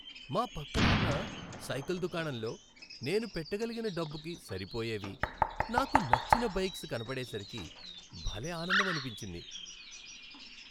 మా పక్కన ఉన్న సైకిల్ దుకాణంలో నేను పెట్టగలిగిన డబ్బుకు సరిపోయేవి, నాకు నచ్చిన బైక్స్ కనబడేసరికి భలే ఆనందమనిపించింది.